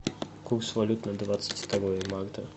курс валют на двадцать второе марта